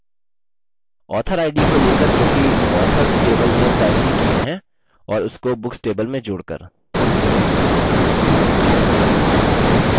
author id को लेकर जोकि authors table में primary की है और उसको books table में जोड़कर